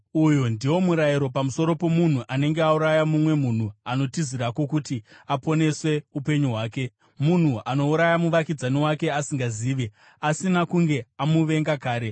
Uyu ndiwo murayiro pamusoro pomunhu anenge auraya mumwe munhu anotizirako kuti aponese upenyu hwake, munhu anouraya muvakidzani wake asingazivi, asina kunge amuvenga kare.